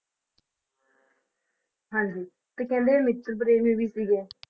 ਹਾਂਜੀ ਤੇ ਕਹਿੰਦੇ ਮਿੱਤਰ ਪ੍ਰੇਮੀ ਵੀ ਸੀਗੇ।